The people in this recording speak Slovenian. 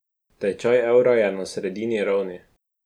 Tečaj evra je na sredini ravni.